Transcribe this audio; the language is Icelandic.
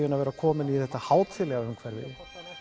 en að vera kominn í þetta hátíðlega umhverfi